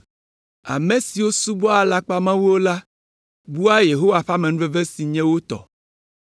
“Ame siwo subɔa alakpamawuwo la bua Yehowa ƒe amenuveve si anye wo tɔ!